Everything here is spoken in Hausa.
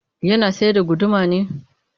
Yana sayar da guduma ne?